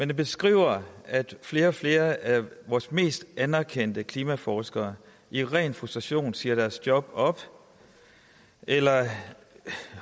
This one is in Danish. den beskriver at flere og flere af vores mest anerkendte klimaforskere i ren frustration siger deres job op eller